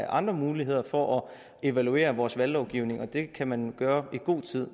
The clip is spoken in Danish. andre muligheder for at evaluere vores valglovgivning og det kan man gøre i god tid